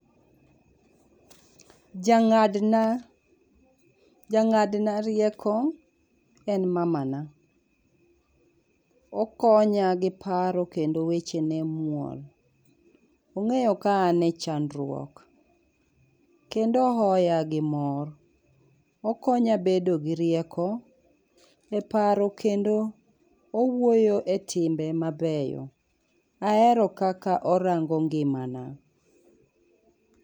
Ja ng'adna ja ng'adna rieko en mamana. Okonya gi paro kendo wechene muol. Ong'eyo ka an e chandruok kendo ohoya gi mor. Okonya bedo gi rieko e paro kendo owuoyo etimbe mabeyo. Ahero kaka orango ngimana.